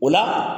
O la